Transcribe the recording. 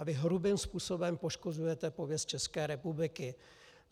A vy hrubým způsobem poškozujete pověst České republiky.